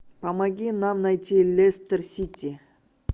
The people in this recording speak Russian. помоги нам найти лестер сити